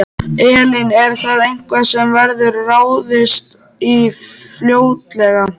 Elín: Er það eitthvað sem verður ráðist í fljótlega?